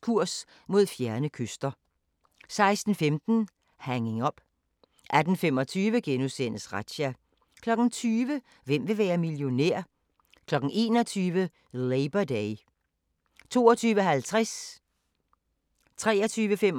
Kurs mod fjerne kyster * 15:25: Kurs mod fjerne kyster * 16:15: Hanging Up 18:25: Razzia * 20:00: Hvem vil være millionær? 21:00: Labor Day 22:50: Natholdet *